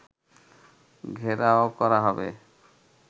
ঘেরাও করা হবে